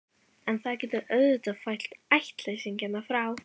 En það getur auðvitað fælt ættleysingjana frá.